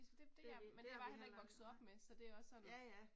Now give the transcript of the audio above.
Det det har vi heller ikke været nej, ja ja